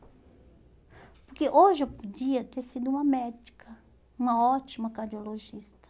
Porque hoje eu podia ter sido uma médica, uma ótima cardiologista.